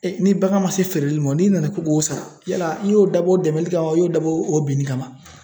Ee ni bagan ma se feereli ma, n'i nana k'i k'o sara yala i y'o dabɔ dɛmɛli kama,i y'o dabɔ o binni kama.